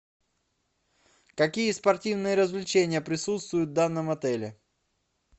какие спортивные развлечения присутствуют в данном отеле